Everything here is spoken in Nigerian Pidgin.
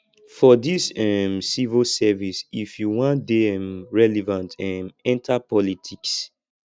for dis um civil service if you wan dey um relevant um enta politics